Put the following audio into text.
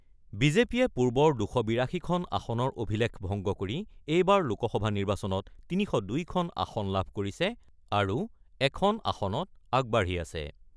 বিজেপিয়ে পূৰ্বৰ ২৮২খন আসনৰ অভিলেখ ভংগ কৰি এইবাৰৰ লোকসভা নিৰ্বাচনত ৩০২খন আসন লাভ কৰিছে আৰু এখন আসনত আগবাঢ়ি আছে।